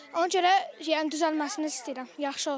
Ona görə yəni düzəlməsini istəyirəm, yaxşı olsun.